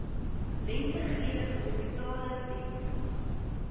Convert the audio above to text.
lentegeur hospitale bied